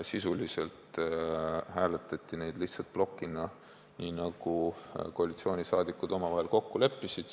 Neid hääletati lihtsalt plokina, nii nagu koalitsioonisaadikud omavahel kokku leppisid.